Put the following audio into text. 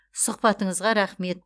сұхбатыңызға рақмет